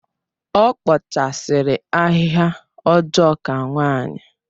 Ọ kpachasiri ahịhịa ọjọọ ka nwanyi